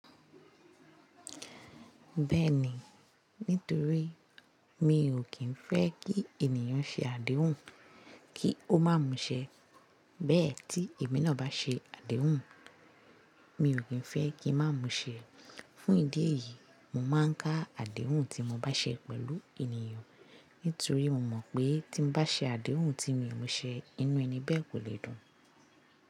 Bẹ́ẹ̀ni, nítorí mi ò kí ń fẹ́ kí ènìyàn ṣe àdéhùn kí ó má mú ṣẹ. Bẹ́ẹ̀ tí èmi náà bá ṣe àdéhùn, mi ò kí ń fẹ́ kí má mú ṣẹ. Fún ìdí èyí, mo máa ń ka àdéhùn tí mo bá ṣe pẹ̀lú ènìyàn. Nítorí mo mọ̀ pé tí bá ṣe àdéhùn tí mi ò mú ṣẹ, inú ẹni bẹ́ẹ̀ kò lè dùn.